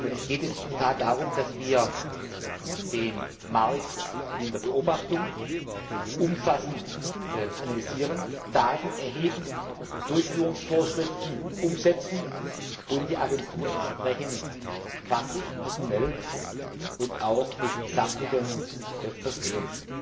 Es geht in der Tat darum, dass wir den Markt in der Beobachtung umfassend analysieren, Daten erheben, Durchführungsvorschriften umsetzen und die Agentur entsprechend fachlich, personell und auch mit Sachmitteln versehen.